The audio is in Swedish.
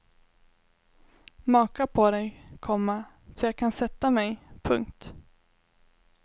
Maka på dig, komma så jag kan sätta mig. punkt